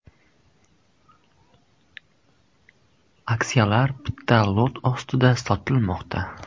Aksiyalar bitta lot ostida sotilmoqda.